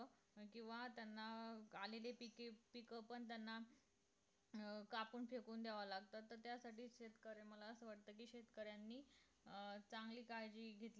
किंवा त्यांना अं आलेली पीक पीक पण त्यांना अं कापून फेकून द्यावं लागत तर त्यासाठी शेतकऱ्यांना असं वाटत कि शेतकऱ्यांनी अं चांगली काळजी घेतो